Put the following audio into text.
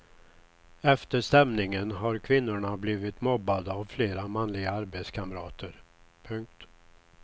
Efter stämningen har kvinnorna blivit mobbade av flera manliga arbetskamrater. punkt